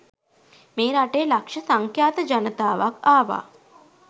මේ රටේ ලක්ෂ සංඛ්‍යාත ජනතාවක් ආවා.